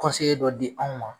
Kɔnseye dɔ di anw ma